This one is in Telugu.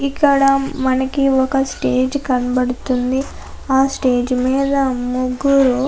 ఇక్కడ మనకి ఒక్క స్టేజి కనపడుతుంది. ఆ స్టేజ్ మీద ముగ్గురు--